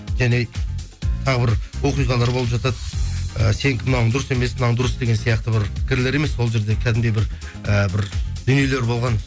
және тағы бір оқиғалар болып жатады і сенікі мынауың дұрыс емес мынау дұрыс деген сияқты бір пікірлер емес ол жерде кәдімгідей бір ііі бір дүниелер болған